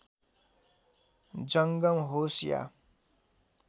जङ्गम होस् या